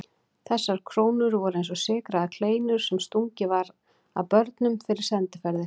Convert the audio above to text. Þessar krónur voru eins og sykraðar kleinur sem stungið var að börnum fyrir sendiferðir.